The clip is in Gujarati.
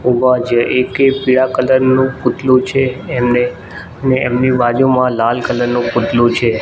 ઊભા છે એકે પીળા કલર નું પૂતલું છે એમને ને એમની બાજુમાં લાલ કલર નું પૂતલું છે.